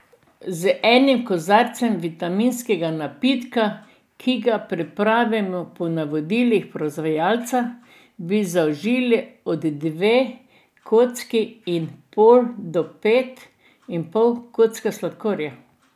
Z enim kozarcem vitaminskega napitka, ki ga pripravimo po navodilih proizvajalca, bi zaužili od dve kocki in pol do pet in pol kock sladkorja.